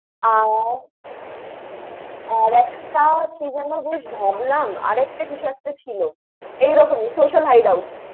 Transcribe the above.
আহ আর একটা কি জেন বেশ ভাবলাম। আর একটা কিছু একটা ছিল। এই রকিম Social Hideout ।